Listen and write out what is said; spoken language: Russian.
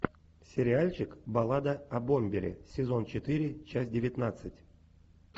сериальчик баллада о бомбере сезон четыре часть девятнадцать